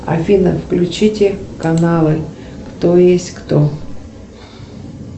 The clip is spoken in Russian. афина включите каналы кто есть кто